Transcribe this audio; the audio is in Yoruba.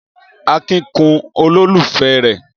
Akin kun olólùfẹ́ rẹ̀.